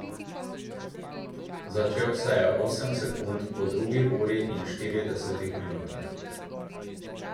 Začel se je osem sekund po drugi uri in štiridesetih minutah.